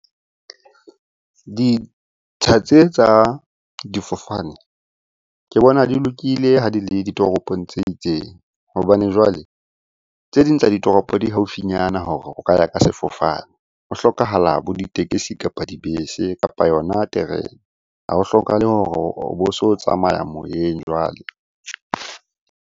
Ditsha tse tsa difofane ke bona di lokile ha di le ditoropong tse itseng, hobane jwale tse ding tsa ditoropo di haufinyana hore o ka ya ka sefofane. Ho hlokahala bo ditekesi, kapa dibese, kapa yona terene. Ha ho hlokahale hore o bo so tsamaya moyeng jwale.